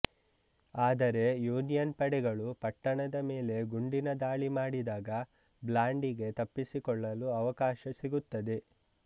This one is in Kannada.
ಆದರೆ ಯೂನಿಯನ್ ಪಡೆಗಳು ಪಟ್ಟಣದ ಮೇಲೆ ಗುಂಡಿನ ದಾಳಿಮಾಡಿದಾಗ ಬ್ಲಾಂಡಿಗೆ ತಪ್ಪಿಸಿಕೊಳ್ಳಲು ಅವಕಾಶ ಸಿಗುತ್ತದೆ